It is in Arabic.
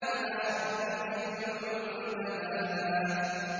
إِلَىٰ رَبِّكَ مُنتَهَاهَا